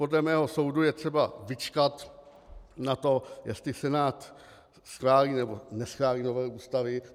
Podle mého soudu je třeba vyčkat na to, jestli Senát schválí, nebo neschválí novelu Ústavy.